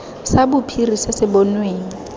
sa bophiri se se bonweng